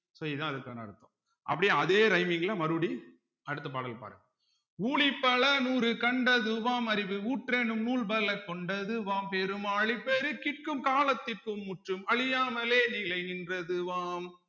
so இதுதான் அதுக்கான அர்த்தம் அப்படியே அதே rhyming ல மறுபடியும் அடுத்த பாடல் பாருங்க ஊழி பல நூறு கண்டதுவாம் அறிவு ஊற்றெனும் நூல் பல கொண்டதுவாம் பெரும் ஆழிப் பெருக்கிற்கும் காலத்திற்கும் முற்றும் அழியாமலே நிலை நின்றதுவாம்